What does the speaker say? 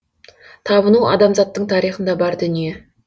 табыну адамзаттың тарихында бар дүние